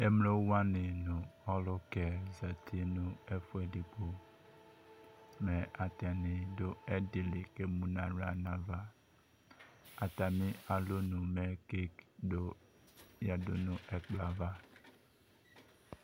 Emlowanɩ nʋ ɔlʋkɛ zati nʋ ɛfʋedigbo Mɛ atanɩ dʋ ɛdɩ li, k'emu n'aɣla n'ava Atamɩ alɔnu mɛ kek dʋ yǝdu nʋ ɛkplɔaava